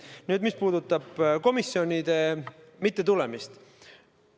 Nüüd sellest, mis puudutab komisjonidesse mittetulemist.